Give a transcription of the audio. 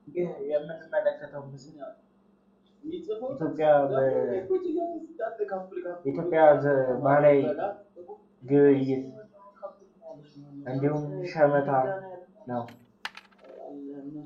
ይህ የምንመለከተዉ ምስል የኢትዮጵያ ባህላዊ ግብይት እንዲሁም ሸመታ ነዉ።